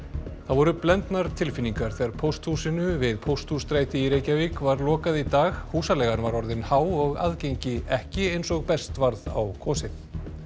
voru blendnar tilfinningar þegar pósthúsinu við Pósthússtræti var lokað í dag húsaleigan var orðin há og aðgengi ekki eins og best varð á kosið